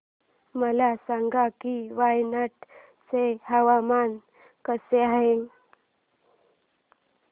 मला सांगा की वायनाड चे हवामान कसे आहे